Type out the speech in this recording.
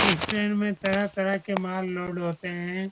इस ट्रेन में तरह-तरह के माल लोड होते हैं ।